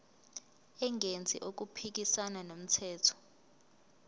engenzi okuphikisana nomthetho